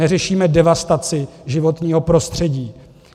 Neřešíme devastaci životního prostředí.